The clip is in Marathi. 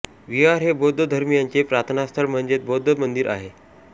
विहार हे बौद्ध धर्मीयांचे प्रार्थनास्थळ म्हणजेच बौद्ध मंदिर आहे